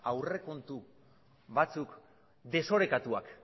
aurrekontu batzuk desorekatuak